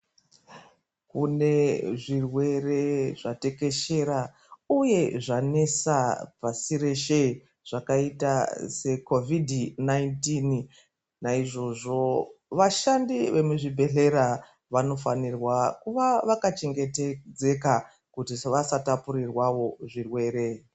Kune zvirwere zvatekeshera uye zvanesa pashi reshe zvakaita seCovid 19 naizvozvo vashandi vemuzvibhedhlera vanofanira kuva vakachengetedzeka kuti vasatapurirwa zvirwere.